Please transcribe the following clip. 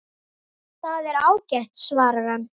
Það er ágætt svarar hann.